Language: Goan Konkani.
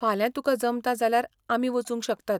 फाल्यां तुकां जमता जाल्यार आमी वचूंक शकतात.